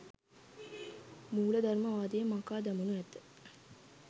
මූලධර්මවාදය මකා දමනු ඇත.